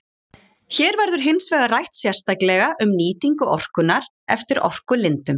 Hér verður hins vegar rætt sérstaklega um nýtingu orkunnar eftir orkulindum.